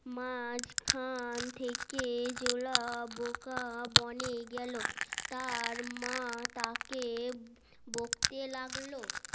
মাঝখান থেকে জোলা বোকা বনে গেল তার মা তাকে বকতে লাগলো